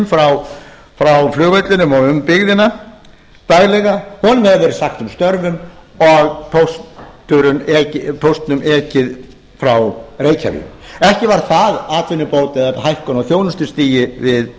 frá flugvellinum og um byggðina daglega honum hefur verið sagt upp störfum og póstinum ekið frá reykjavík ekki var það atvinnubót eða hækkun á þjónustustigi við